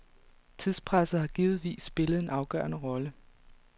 Tidspresset har givetvis spillet en afgørende rolle.